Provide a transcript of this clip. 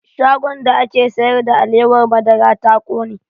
Shagon da ake sayar da alewar madara ta ƙone